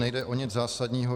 Nejde o nic zásadního.